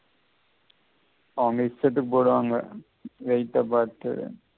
அவங்க இஷ்டத்துக்கு போடுவாங்க weight பார்த்து